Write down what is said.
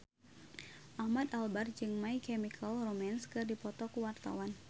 Ahmad Albar jeung My Chemical Romance keur dipoto ku wartawan